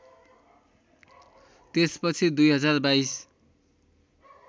त्यस पछि २०२२